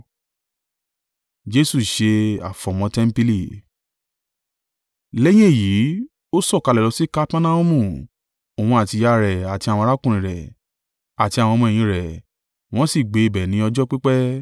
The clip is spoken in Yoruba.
Lẹ́yìn èyí, ó sọ̀kalẹ̀ lọ sí Kapernaumu, Òun àti ìyá rẹ̀ àti àwọn arákùnrin rẹ̀, àti àwọn ọmọ-ẹ̀yìn rẹ̀, wọ́n sì gbé ibẹ̀ ní ọjọ́ pípẹ́.